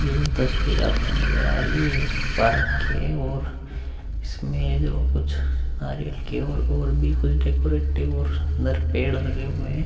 यह तस्वीर आपको नजर आ रही है। ये एक पार्क की है ओर इसमे यहां कुछ नारियल के और भी कुछ डेकोरेटिव और अंदर पेड़ लगे हुए हैं।